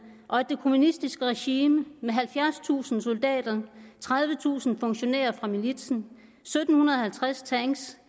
og at det kommunistiske regime med halvfjerdstusind soldater tredivetusind funktionærer fra militsen sytten halvtreds tanks